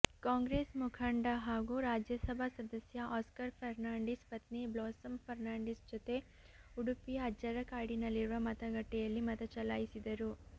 ಕಾಂಗ್ರೆಸ್ ಮುಖಂಡ ಹಾಗೂ ರಾಜ್ಯಸಭಾ ಸದಸ್ಯ ಆಸ್ಕರ್ ಫರ್ನಾಂಡಿಸ್ ಪತ್ನಿ ಬ್ಲಾಸಮ್ ಫರ್ನಾಂಡಿಸ್ ಜೊತೆ ಉಡುಪಿಯ ಅಜ್ಜರಕಾಡಿನಲ್ಲಿರುವ ಮತಗಟ್ಟೆಯಲ್ಲಿ ಮತಚಲಾಯಿಸಿದರು